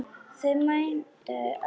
Þau mændu öll á mig.